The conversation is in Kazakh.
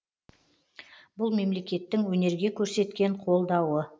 бұл мемлекеттің өнерге көрсеткен қолдауы